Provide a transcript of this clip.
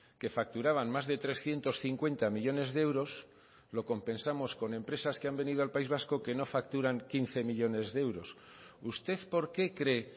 que facturaban más de trescientos cincuenta millónes de euros lo compensamos con empresas que han venido al país vasco que no facturan quince millónes de euros usted por qué cree